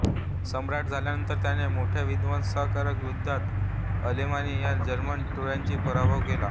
सम्राट झाल्यानंतर त्याने मोठ्या विध्वंसकारक युद्धात अलेमानी या जर्मन टोळ्यांचा पराभव केला